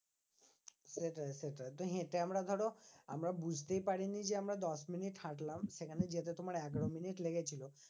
সেটাই সেটাই তো হেঁটে আমরা ধরো আমরা বুঝতেই পারিনি যে, আমরা দশমিনিট হাঁটলাম। সেখানে যেতে তোমার এগারো মিনিট লেগেছিলো।